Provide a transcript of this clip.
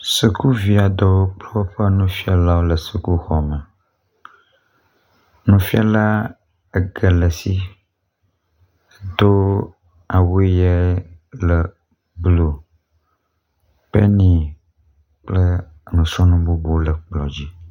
Sukuvi aɖewo kple woƒe nufiala le xɔme. Nufiala ege le esi do awu ʋi aɖe le blu kple nuyi..kple nusrɔ̃nu gbogbo aɖewo le kplɔ dzi.